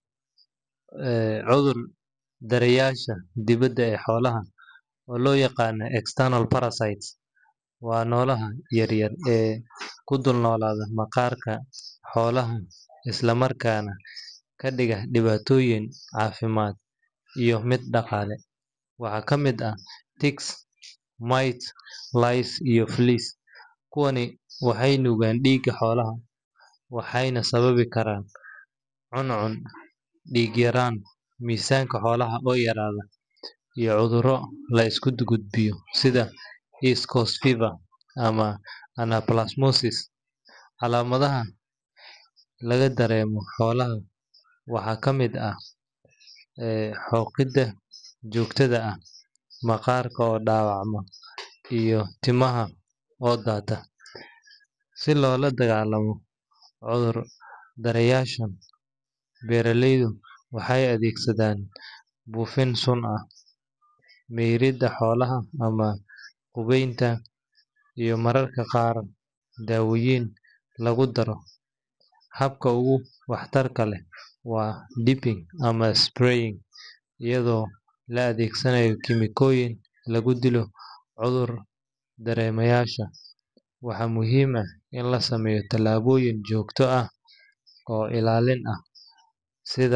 Cuthur daryasha dibada ee xolaha oo lo yaqano external parasite waa noloha yar yar ee kudul noladha maqarka xolaha isla marka kadiga diwatoyin cafimaad iyo miid daqale waxaa kamiid ah [ccs]ticks mite lies iyo flies kuwani waxee nugan diga xolaha waxena sababi karan cun cun diga iyo misanka xolaha oo yaradho iyo cudhuro laisku gudgud biyo, sitha escorted fiver ama anaplus mosis calamadhaha laga daremo holaha waxaa kamiid ah xoqida johtadha ah maqarka oo dawacma iyo timaha oo data si lola dagalamo cudhur daryasha beera leydu waxee adhegsadhan bufin sun ah beerida xolaha ama hubenta lagu daro, habka ogu wax tarka leh waa deeping ama spraying iyadha oo la adhegsanayo kemicoyin lagu dilo cudhur daremayasha, waxaa muhiim ah in lasameyo tilaboyin jogto ah oo ilalin ah sitha.